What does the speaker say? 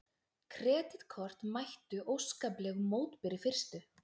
Kreditkort mættu óskaplegum mótbyr í fyrstu